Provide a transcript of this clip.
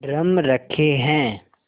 drum रखे हैं